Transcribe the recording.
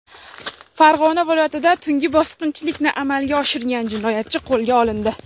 Farg‘ona viloyatida tungi bosqinchilikni amalga oshirgan jinoyatchi qo‘lga olindi.